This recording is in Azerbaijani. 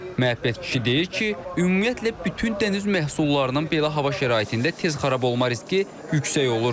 Məhəbbət kişi deyir ki, ümumiyyətlə bütün dəniz məhsullarının belə hava şəraitində tez xarab olma riski yüksək olur.